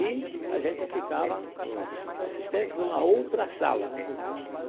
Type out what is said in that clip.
E a gente ficava, os os assistentes, numa outra sala.